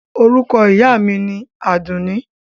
Orúkọ ìyá mi ni Àdùnní.